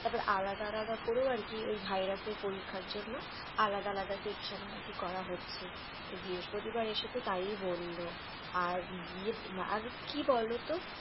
তারপর আলাদা আলাদা করেও আরকি ওই ভাইরাস এর পরীক্ষার জন্য আলাদা আলাদা Section ও নাকি করা হচ্ছে ওই বৃহস্পতিবার বার এসে তো তাই বললো। আর কি বলতো?